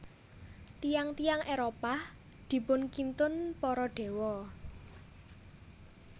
Tiyang tiyang Éropah dipunkintun para Dewa